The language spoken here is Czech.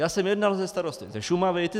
Já jsem jednal se starosty ze Šumavy.